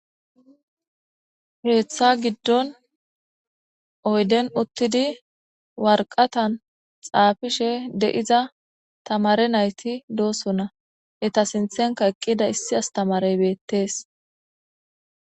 Keetha gidon uyden uthidi warakatan xaafisishe de'iza tamaare nayti de'osona eeta sinthenka eqida issi astamaare beetes.